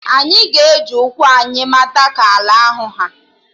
Anyị ga-eji ụkwụ anyị mata ka ala ahụ ha